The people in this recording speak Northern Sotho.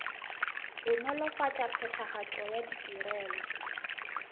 go nolofatša phethagatšo ya ditirelo